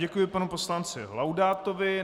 Děkuji panu poslanci Laudátovi.